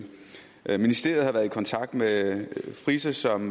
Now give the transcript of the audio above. ministeriet har været i kontakt med frise som